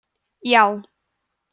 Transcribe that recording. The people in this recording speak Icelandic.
já